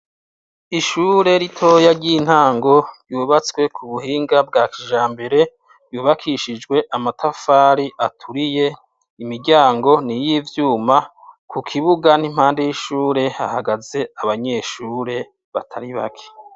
Ishure ritoya ry'intango ryubatswe ku buhinga bwa kijambere, ryubakishijwe amatafari aturiye, imiryango ni iy'ivyuma, ku kibuga n'impande y'ishure hahagaze abenyeshure batari bake.